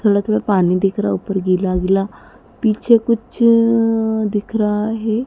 थोड़ा थोड़ा पानी दिख रहा ऊपर गिला गिला पीछे कुछ दिख रहा हैं।